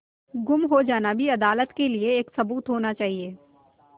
गुम हो जाना भी अदालत के लिये एक सबूत होना चाहिए